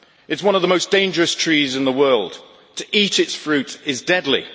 It is one of the most dangerous trees in the world. To eat its fruit is deadly.